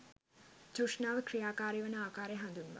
තෘෂ්ණාව ක්‍රියාකාරීවන ආකාරය හඳුන්වයි.